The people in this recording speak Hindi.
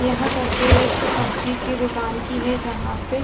यह तस्वीर एक सब्जी की दुकान की है जहां पर --